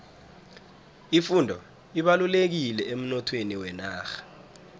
ifundo ibalulekile emnothweni wenarha